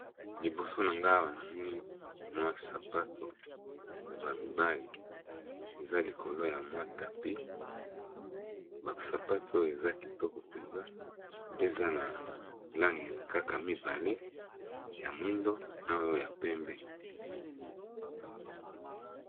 Liboso na nga awa namoni mwa sapato ya ba mibale, eza likolo ya mwa tapis ba sapato eza kitoko mpenza pe eza na langi kaka mibale ya mwindo na oyo ya pembe.